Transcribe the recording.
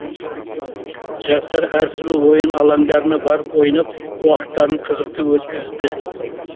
жастар әр түрлі ойын алаңдарына барып ойнап уақыттарын қызықты өткізді